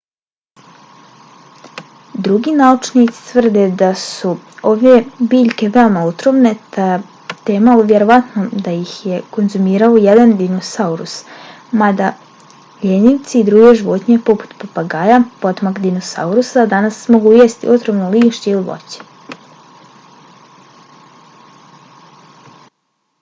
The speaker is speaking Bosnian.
drugi naučnici tvrde da su ove biljke veoma otrovne te je malo vjerovatno da ih je konzumirao ijedan dinosaurus mada ljenjivci i druge životinje poput papagaja potomak dinosaurusa danas mogu jesti otrovno lišće ili voće